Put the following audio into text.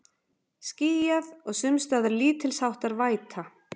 Skýjað og sums staðar lítilsháttar væta